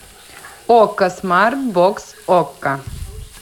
окко смартбокс окко